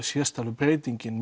sést að breytingin